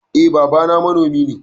Eh babana manomi ne.